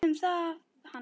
Semdu um það við hann.